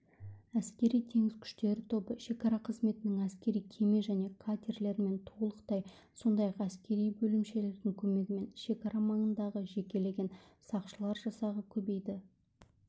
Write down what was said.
әскери-теңіз күштері тобы шекара қызметінің әскери кеме және катерлерімен толықты сондай-ақ әскери бөлімшелердің көмегімен шекара маңындағы жекелеген сақшылар жасағы көбейді